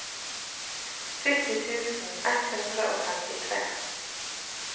sytti tusen ett hundre og femtitre